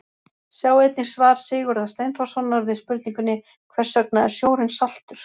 Sjá einnig svar Sigurðar Steinþórssonar við spurningunni Hvers vegna er sjórinn saltur?.